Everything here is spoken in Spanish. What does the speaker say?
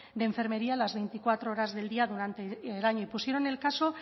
de enfermería las veinticuatro horas del día durante el año y pusieron el caso